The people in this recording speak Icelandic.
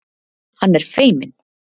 Hann er feiminn.